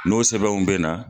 N'o sɛbɛnw bɛ na.